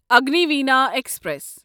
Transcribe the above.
Agniveena express